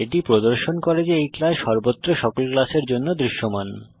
এটি প্রদর্শন করে যে এই ক্লাস সর্বত্র সকল ক্লাসের কাছে দৃশ্যমান